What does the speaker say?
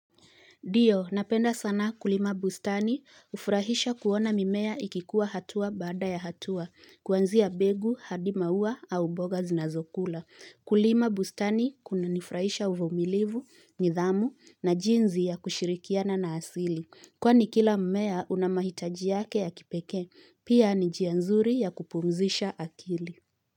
Ndio, napenda sana kulima bustani hufurahisha kuona mimea ikikuwa hatua baada ya hatua, kuanzia mbegu, hadi maua au mboga zinazokula. Kulima bustani kuna nifurahisha uvumilivu, nidhamu na jinsi ya kushirikiana na asili. Kwani kila mmea una mahitaji yake ya kipekee, pia ni njia nzuri ya kupumzisha akili.